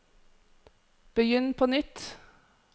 begynn på nytt